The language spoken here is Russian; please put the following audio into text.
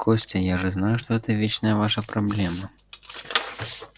костя я же знаю что это вечная ваша проблема